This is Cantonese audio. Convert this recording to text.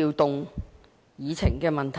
調動議程。